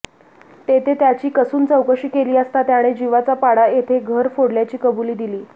तेथे त्याची कसून चौकशी केली असता त्याने जिवाचा पाडा येथे घर फोडल्याची कबुली दिली